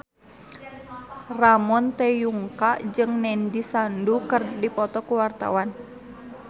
Ramon T. Yungka jeung Nandish Sandhu keur dipoto ku wartawan